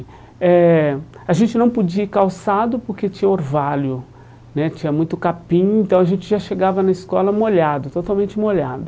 Eh A gente não podia ir calçado porque tinha orvalho né, tinha muito capim, então a gente já chegava na escola molhado, totalmente molhado.